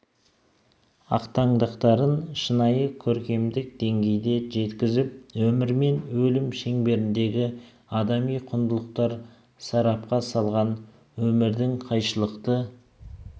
ақтаңдақтарын шынайы көркемдік деңгейде жеткізіп өмір мен өлім шеңберіндегі адами құндылықтарды сарапқа салған өмірдің қайшылықты